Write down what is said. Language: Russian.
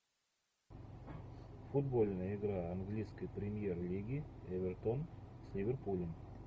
футбольная игра английской премьер лиги эвертон с ливерпулем